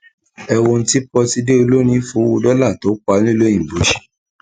ẹ wo ohun tí pọtidé olórin fowó dọlà tó pa nílùú òyìnbó ṣe